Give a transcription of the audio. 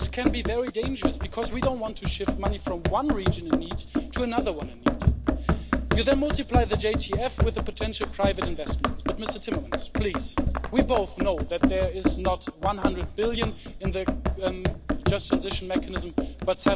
But this can be very dangerous because we don't want to shift money from one region in need to another one in need. You then multiply the JTF with potential private investments, but Mr Timmermans please we both know that there is not 100 billion in that just transition mechanism, but